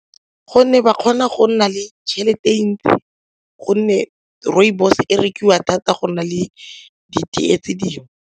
Gonne ba kgona go nna le tšhelete e ntsi gonne rooibos e rekiwa thata go nna le ditee tse dingwe.